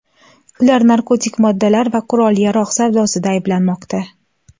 Ular narkotik moddalar va qurol-yarog‘ savdosida ayblanmoqda.